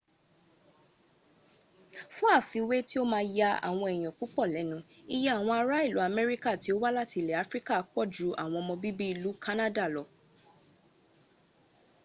fun afiwe ti o ma ya awon èèyàn pupo lenu:iye awon ara ilu amerika tio wa lati ile afirika po ju awon omo bibi ilu canada lọ